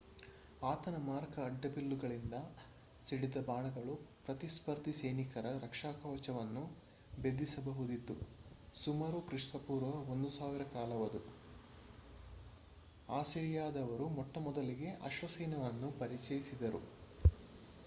ಆತನ ಮಾರಕ ಅಡ್ಡಬಿಲ್ಲುಗಳಿಂದ ಸಿಡಿದ ಬಾಣಗಳು ಪ್ರತಿಸ್ಪರ್ಧಿ ಸೈನಿಕರ ರಕ್ಷಾಕವಚವನ್ನು ಭೇದಿಸಬಹುದಿತ್ತು ಸುಮಾರು ಕ್ರಿಪೂ 1000 ಕಾಲವದು ಅಸಿರಿಯಾದವರು ಮೊಟ್ಟಮೊದಲ ಅಶ್ವಸೈನ್ಯವನ್ನು ಪರಿಚಯಿಸಿದ್ದರು